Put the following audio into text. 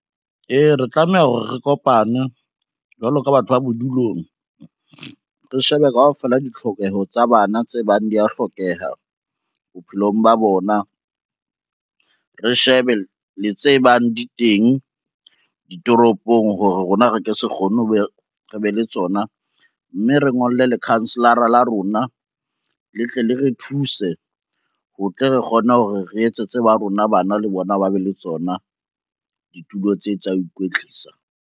Ee, re tlameha hore re kopane jwalo ka batho ba bodulong, re shebe kaofela ditlhokeho tsa bana tse bang di ya hlokeha bophelong ba bona. Re shebe le tse bang di teng ditoropong hore rona re ke se kgone hore re be le tsona, mme re ngolle lekhanselara la rona le tle le re thuse ho tle re kgone hore re etse tse ba rona bana le bona ba be le tsona ditulo tse tsa ikwetlisa.